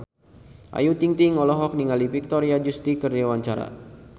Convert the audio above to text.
Ayu Ting-ting olohok ningali Victoria Justice keur diwawancara